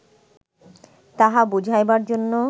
তাহা বুঝাইবার জন্য